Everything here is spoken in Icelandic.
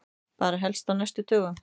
Bara helst á næstu dögum.